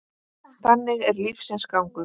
Þannig er lífsins gangur.